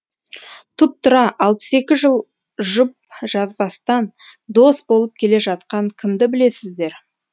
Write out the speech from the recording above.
тұп тура алпыс екі жыл жұп жазбастан дос болып келе жатқан кімді білесіздер